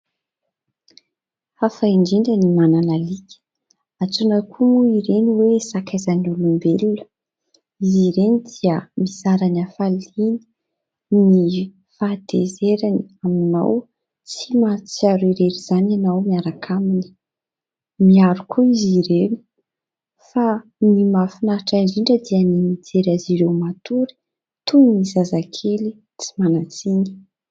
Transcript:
Hafa indrindra ny manana alika. Antsoina koa moa ireny hoe sakaizan'ny olombelona. Izy ireny dia mizara ny hafaliany, ny fahatezerany aminao. Tsy mahatsiaro irery izany ianao miaraka aminy. Miaro koa izy ireny fa ny mahafinaritra indrindra dia ny mijery azy ireo matory toy ny zazakely tsy manan-tsiny.